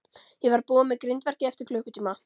Ég verð búinn með grindverkið eftir klukkutíma.